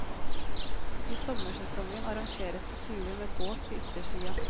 I sommersesongen arrangeres det turer med båt til yttersida.